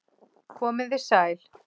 Komiði sæl